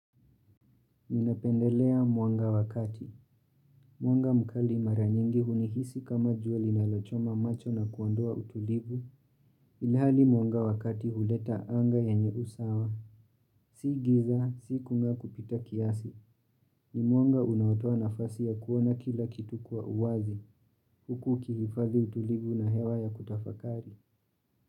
Ninapendelea mwanga wakati. Mwanga mkali mara nyingi hunihisi kama jua linalochoma macho na kuondoa utulivu. Ilhali mwanga wakati huleta anga yenye usawa. Si giza, si kunga kupita kiasi. Ni mwanga unaotoa nafasi ya kuona kila kitu kwa uwazi. Huku ukihifadhi utulivu na hewa ya kutafakari.